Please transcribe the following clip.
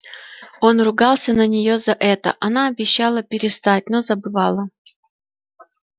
он ругался на нее за это она обещала перестать но забывала